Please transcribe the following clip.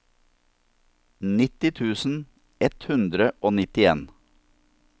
nitti tusen ett hundre og nittien